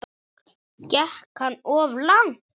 Gekk hann of langt?